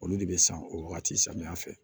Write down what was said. Olu de bɛ san o wagati samiya fɛ